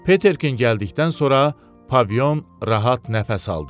Peterkin gəldikdən sonra Pavion rahat nəfəs aldı.